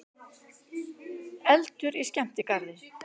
Eldur í skemmtigarði